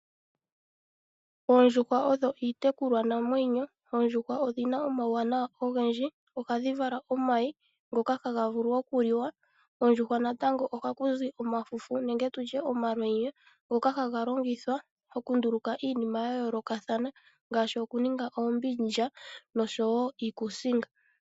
Oondjuhwa odho iitekulwanamwenyo. Oondjuhwa odhi na omauwanawa ogendji.. Ohadhi vala omayi ngoka haga vulu okuliwa. Koondjuhwa natango ohaku zi omafufu nenge tu tye omalwenya ngoka haga longithwa okunduluka iinima ya yoolokathana ngaashi okuninga oombindja nosho wo iikuusinga.